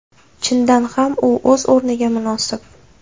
Chindan ham u o‘z o‘rniga munosib.